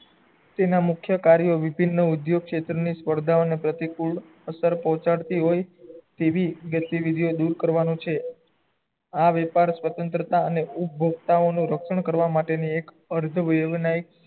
તેના મુખ્ય કાર્ય વિભિન્ન નો ઉદ્યોગ ક્ષેત્ર ની સ્પર્ધાઓં ની પ્રતિકુળ અત્યાર પહુહાડતી હોય છે તેવી ગતીવીધીયો દુર કરવાનું છે આ વ્યાપાર સ્વંત્રતા અને ઉપ્ભોગ્તાઓ નુ રક્ષણ કરવા માટે ની એક અર્ધ